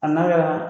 A n'a kɛra